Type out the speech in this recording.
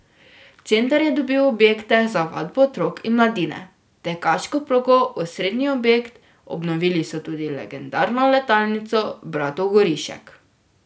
Center je dobil objekte za vadbo otrok in mladine, tekaško progo, osrednji objekt, obnovili so tudi legendarno letalnico bratov Gorišek.